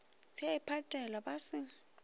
se a iphatela ba se